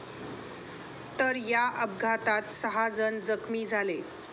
तर या अपघातात सहा जण जखमी झाले.